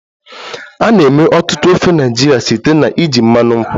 A na-eme ọtụtụ ofe Naịjirịa site na iji mmanụ nkwụ